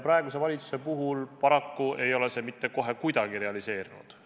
Praeguse valitsuse puhul paraku ei ole see kohe mitte kuidagi realiseerunud.